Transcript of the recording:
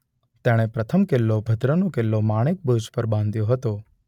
તેણે પ્રથમ કિલ્લો ભદ્રનો કિલ્લો માણેક બૂર્જ પર બાંધ્યો હતો.